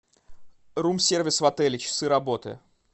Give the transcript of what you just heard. рум сервис в отеле часы работы